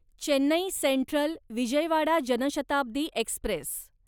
Chennai central Vijayawada Janshatabdi Express